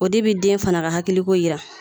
O de bi den fana ka hakiliko yira